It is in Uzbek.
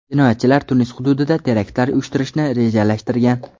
Jinoyatchilar Tunis hududida teraktlar uyushtirishni rejalashtirgan.